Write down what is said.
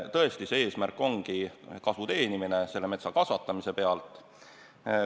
Tõesti, see eesmärk on metsa kasvatamise pealt kasu teenimine.